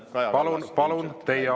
… on Kaja Kallas ilmselt läinud.